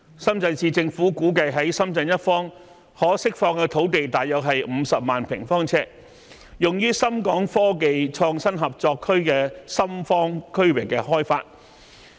深圳市政府估計在深圳一方可釋放土地約50萬平方米，用於深港科技創新合作區深方區域開發。